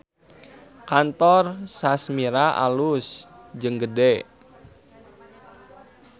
Kantor Sashmira alus jeung gede